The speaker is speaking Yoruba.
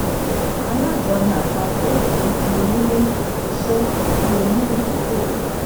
alájọni àpapọ̀ kì í di onílé-iṣẹ́ bí oní ìdókòwò.